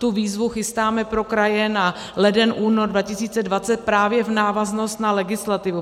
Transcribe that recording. Tu výzvu chystáme pro kraje na leden - únor 2020 právě v návaznosti na legislativu.